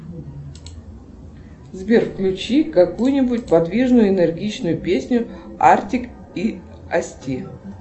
сбер включи какую нибудь подвижную энергичную песню артик и асти